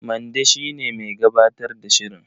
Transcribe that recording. Mande shi ne mai gabatar da shirin.